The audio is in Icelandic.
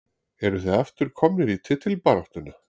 Eruð þið aftur komnir í titilbaráttuna?